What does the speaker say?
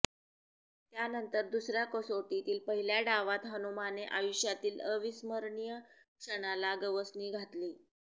त्यानंतर दुसऱ्या कसोटीतील पहिल्या डावात हनुमाने आयुष्यातील अविस्मरणीय क्षणाला गवसणी घातली